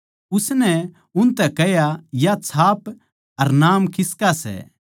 उसनै उनतै कह्या या छाप अर नाम किसका सै